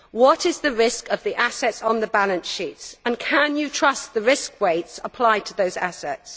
What is the risk of the assets on the balance sheets, and can you trust the risk weights applied to those assets?